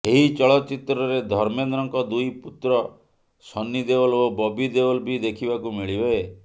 ଏହି ଚଳଚ୍ଚିତ୍ରରେ ଧର୍ମେନ୍ଦ୍ରଙ୍କ ଦୁଇ ପୁତ୍ର ସନ୍ନି ଦେଓଲ ଓ ବବି ଦେଓଲ୍ ବି ଦେଖିବାକୁ ମିଳିବେ